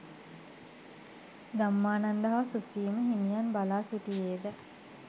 ධම්මානන්ද හා සුසීම හිමියන් බලා සිටියේද